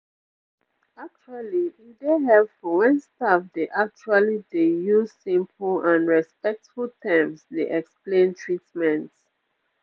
actually e dey helpful wen staff dey actually dey use simple and respectful terms dey explain treatment